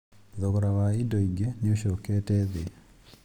Thogora wa indo ingĩ nĩ ũcokete thĩ